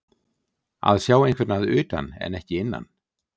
Að sjá einhvern að utan en ekki innan